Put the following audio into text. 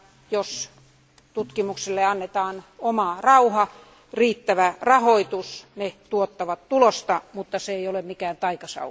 Jos tutkimukselle annetaan oma rauha ja riittävä rahoitus, ne tuottavat tulosta, mutta se ei ole mikään taikasauva.